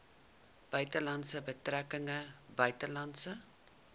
buitelandse betrekkinge buitelandse